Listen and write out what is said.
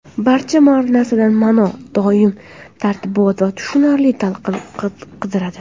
Barcha narsadan ma’no, doim tartibot va tushunarli talqin qidiradi.